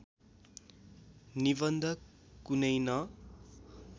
निबन्ध कुनै न